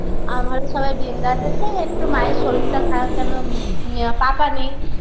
আমারও সবাই bindas আছে একটু মায়ের শরীরটা খারাপ কেন ম পাকা নেই